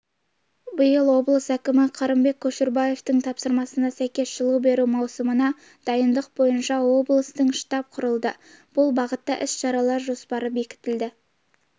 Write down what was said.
биыл облыс әкімі қырымбек көшербаевтың тапсырмасына сәйкес жылу беру маусымына дайындық бойынша облыстық штаб құрылды бұл бағытта іс-шаралар жоспары бекітілді